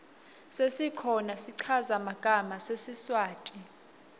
sesikhona schaza magama sesiswati